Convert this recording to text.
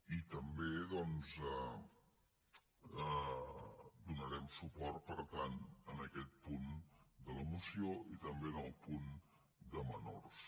i també donarem suport per tant a aquest punt de la moció i també al punt de menors